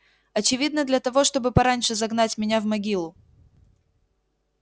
очевидно для того чтобы пораньше загнать меня в могилу